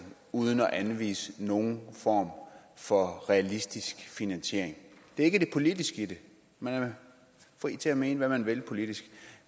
uden at anvise nogen form for realistisk finansiering det er ikke det politiske i det man er fri til at mene hvad man vil politisk